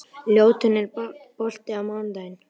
Ljótunn, er bolti á mánudaginn?